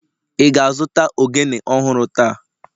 Ị ga-azụta ogene ọhụrụ taa?